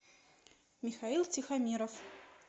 михаил тихомиров